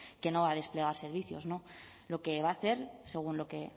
que no va a desplegar servicios no lo que va a hacer según lo que